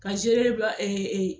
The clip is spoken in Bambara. Ka